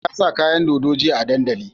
Bello ya sa kayan dodo jiya a dandali